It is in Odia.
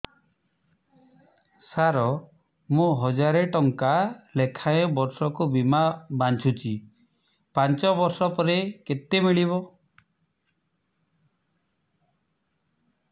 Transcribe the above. ସାର ମୁଁ ହଜାରେ ଟଂକା ଲେଖାଏଁ ବର୍ଷକୁ ବୀମା ବାଂଧୁଛି ପାଞ୍ଚ ବର୍ଷ ପରେ କେତେ ମିଳିବ